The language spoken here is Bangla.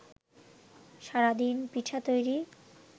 সারাদিন পিঠা তৈরি